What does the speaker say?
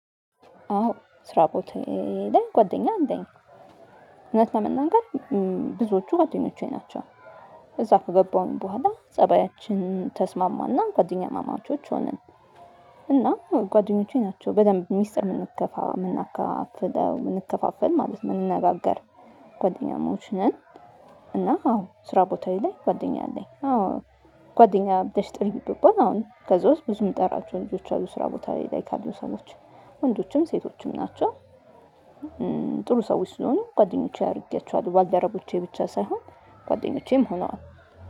አዎ ስራ ቦታ ላይ ጓደኛ አለኝ። እውነት ለመናገር ብዙዎቹ ጓደኞቼ ናቸው። እዛ ከገባሁኝ በኋላ ፀባያችን ተስማማና ጓደኛማማቾች ሆንን። እና ጓደኞቼ ናቸው በደንብ ሚስጥር የምናከፋፍለው የምንከፋፈል ማለት የምንነጋገር ጓደኛሞች ነን። እና አዎ ስራ ቦታ ላይ ጓደኛ አለኝ አዎ። ጓደኛ ብባልጥሪ ብባል አሁን ከዛ ውስጥ ብዙ የምጠራቸው ልጆች አሉ ስራ ቦታ ላይ ካሉ ሰዎች ወንዶችም ሴቶችም ናቸው። ጥሩ ሰዎች ስለሆኑ ጓደኞቼ አድርጌያቸዋለሁ ባልደረቦቼ ብቻ ሳይሆን ጓደኞቼም ሆነዋል።